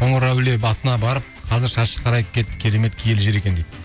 қоңыр әулие басына барып қазір шашы қарайып кетті керемет киелі жер екен дейді